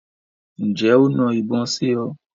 Ǹjẹ́ o na ìbọn sí ọ?